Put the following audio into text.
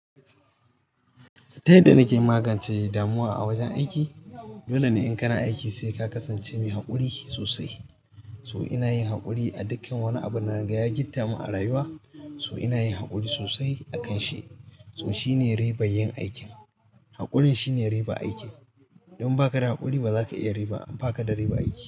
Taya da nike magance damuwa a wajen aiki, dole ne in kana aiki sai ka kasance mai haƙuri sosai. So ina yin haƙuri a dukkan wani abu na gan ya gitta min a rayuwa, so ina yin haƙuri sosai akan shi. So shine riba yin aikin. Haƙuri shine ribar aiki. In ba ka da haƙuri ba za ka iya riba, ba ka da ribar aiki.